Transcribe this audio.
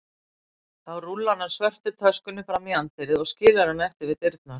Þá rúllar hann svörtu töskunni fram í anddyrið og skilur hana eftir við dyrnar.